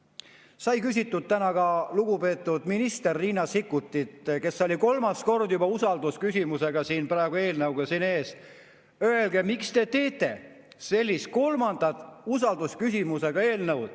Täna sai küsitud ka lugupeetud ministrilt Riina Sikkutilt, kes oli kolmas kord juba usaldusküsimusega seotud eelnõuga meie ees: öelge, miks te tegite sellise kolmanda usaldusküsimusega eelnõu.